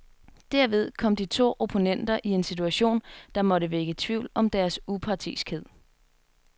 Derved kom de to opponenter i en situation, der måtte vække tvivl om deres upartiskhed.